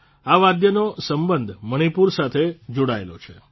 આ વાદ્યનો સંબંધ મણિપુર સાથે જોડાયેલો છે